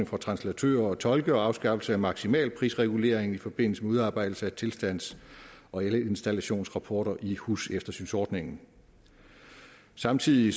for translatører og tolke og afskaffelse af maksimalprisreguleringen i forbindelse med udarbejdelse af tilstands og elinstallationsrapporter i huseftersynsordningen samtidig